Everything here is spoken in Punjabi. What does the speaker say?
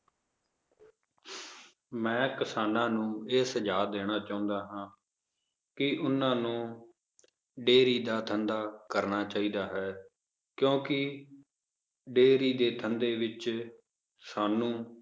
ਮੈਂ ਕਿਸਾਨਾਂ ਨੂੰ ਇਹ ਸੁਝਾਵ ਦੇਣਾ ਚਾਹੁੰਦਾ ਹਾਂ ਕਿ ਓਹਨਾ ਨੂੰ dairy ਦਾ ਧੰਦਾ ਕਰਨਾ ਚਾਹੀਦਾ ਹੈ ਕਿਉਂਕਿ dairy ਦੇ ਧੰਦੇ ਵਿੱਚ ਸਾਨੂੰ